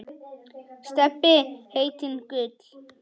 Stebbi heitinn Gull.